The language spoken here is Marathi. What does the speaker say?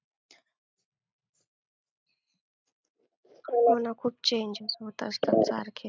हो ना खूप change होत असतं सारखेच.